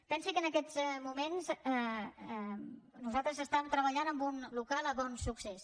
pensi que en aquests moments nosaltres estàvem treballant en un local a bonsuccés